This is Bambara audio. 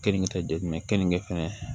Kenige tɛ jumɛn kenige fɛnɛ